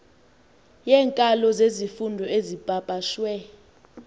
yeenkalo zezifundo ezipapashwe